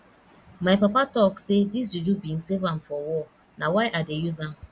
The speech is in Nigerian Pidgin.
my papa talk sey dis juju bin save am for war na why i dey use am